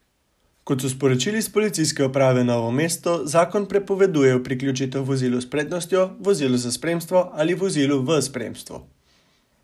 Kot so sporočili s Policijske uprave Novo mesto, zakon prepoveduje priključitev vozilu s prednostjo, vozilu za spremstvo ali vozilu v spremstvu.